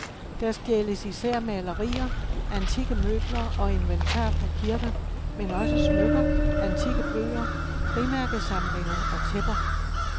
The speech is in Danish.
Der stjæles især malerier, antikke møbler og inventar fra kirker, men også smykker, antikke bøger, frimærkesamlinger og tæpper.